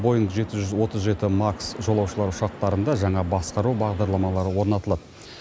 боинг жеті жүз отыз жеті макс жолаушылар ұшақтарында жаңа басқару бағдарламалары орнатылады